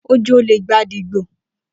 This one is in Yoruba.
Oj'ole igbade gbo.